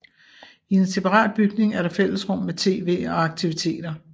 I en separat bygning er der fællesrum med TV og aktiviteter